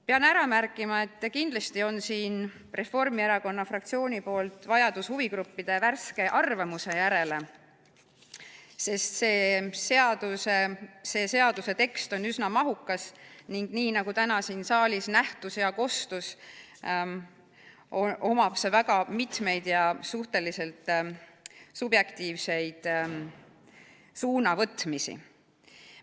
Pean ära märkima, et kindlasti on siin Reformierakonna fraktsiooni arvates vajadus huvigruppide värske arvamuse järele, sest selle seaduse tekst on üsna mahukas ning nagu täna siin saalis näha ja kuulda oli, sellega mitu suhteliselt subjektiivset suunavõtmist.